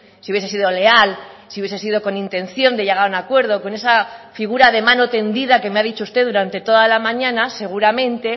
si hubiese sido leal si hubiese sido con intención de llegar a un acuerdo con esa figura de mano tendida que me ha dicho usted durante toda la mañana seguramente